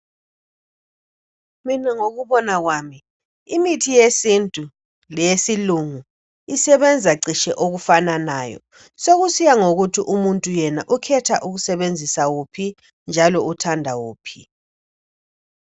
Mina ngokubonwa kwami imithi yesintu leyesilungu isebenza ceshe okufananayo sokusiya ngokuthi umuntu yena ukhetha ukusebenzisa wuphi njalo uthanda wuphi